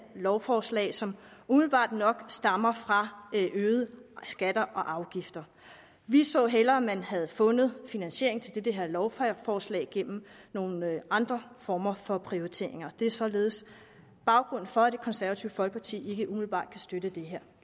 lovforslag som umiddelbart nok stammer fra øgede skatter og afgifter vi så hellere at man havde fundet finansiering til det her lovforslag gennem nogle andre former for prioriteringer det er således baggrunden for at det konservative folkeparti ikke umiddelbart kan støtte det her